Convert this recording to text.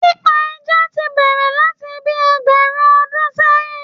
Pípa ẹja ti bẹ̀rẹ̀ láti bíi ẹgbẹ̀rún ọdún sẹ́yìn